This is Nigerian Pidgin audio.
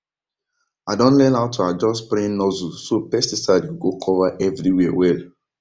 i don learn how to adjust spraying nozzle so pesticide go go cover everywhere well